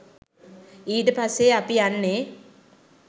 ඊට පස්සේ අපි යන්නේ